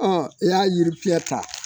i y'a yiri fiyɛ ta